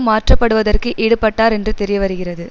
மாற்றப்படுவதற்கு ஈடுபட்டார் என்று தெரியவருகிறது